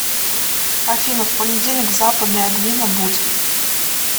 афина в понедельник в западной адвина будь